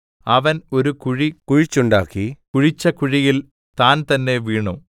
അവൻ ഒരു കുഴി കുഴിച്ചുണ്ടാക്കി കുഴിച്ച കുഴിയിൽ താൻതന്നെ വീണു